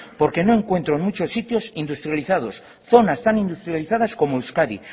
porque no encuentro en muchos sitios industrializados zonas tan industrializadas como euskadi